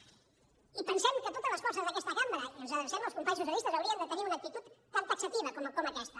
i pensem que totes les forces d’aquesta cambra i ens adrecem als companys socialistes haurien de tenir una actitud tan taxativa com aquesta